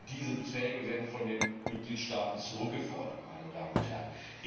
Diese Beträge werden von den Mitgliedstaaten zurückgefordert, meine Damen und Herren.